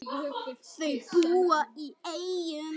Þau búa í Eyjum.